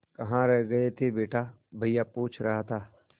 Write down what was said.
कहाँ रह गए थे बेटा भैया पूछ रहा था